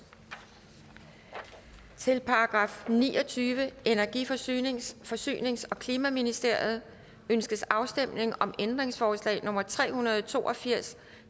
til § niogtyvende energi forsynings forsynings og klimaministeriet ønskes afstemning om ændringsforslag nummer tre hundrede og to og firs